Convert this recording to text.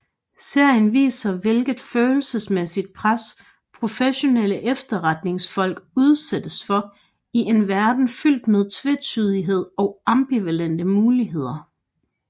Serien viser hvilket følelsesmæssigt pres professionelle efterretningsfolk udsættes for i en verden fyldt med tvetydighed og ambivalente valgmuligheder